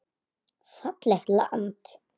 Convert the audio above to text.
Fallegt land.